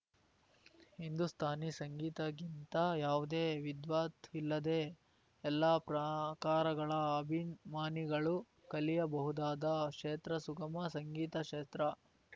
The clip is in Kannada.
ಹಿಂದೂಸ್ಥಾನಿ ಸಂಗೀತಕ್ಕಿಂತ ಯಾವುದೇ ವಿದ್ವತ್‌ ಇಲ್ಲದೇ ಎಲ್ಲಾ ಪ್ರಕಾರಗಳ ಅಭಿಮಾನಿಗಳು ಕಲಿಯಬಹುದಾದ ಕ್ಷೇತ್ರ ಸುಗಮ ಸಂಗೀತ ಕ್ಷೇತ್ರ